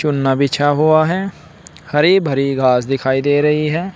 बिछा हुआ है हरी भरी घास दिखाई दे रही है।